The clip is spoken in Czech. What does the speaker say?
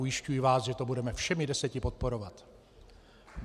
Ujišťuji vás, že to budeme všemi deseti podporovat.